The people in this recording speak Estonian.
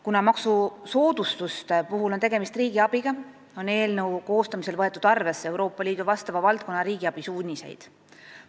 Kuna maksusoodustuste puhul on tegemist riigiabiga, on eelnõu koostamisel võetud arvesse Euroopa Liidu vastava valdkonna riigiabi suuniseid.